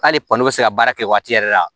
K'ale kɔni bɛ se ka baara kɛ waati yɛrɛ la